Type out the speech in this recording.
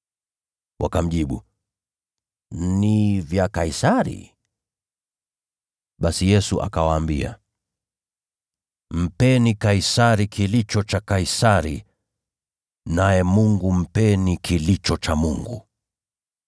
Wakamjibu, “Ni vya Kaisari.” Basi Yesu akawaambia, “Mpeni Kaisari kilicho cha Kaisari, naye Mungu mpeni kilicho cha Mungu.”